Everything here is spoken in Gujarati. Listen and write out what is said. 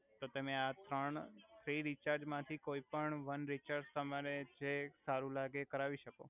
તો તમે આ ત્રણ થ્રી રિચાર્જ માથી કોઇ પણ વન રિચાર્જ તમારે જે સારુ લાગે એ કરાવી સકો